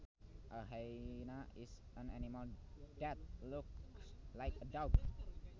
A hyena is an animal that looks like a dog